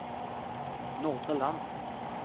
Nordre Land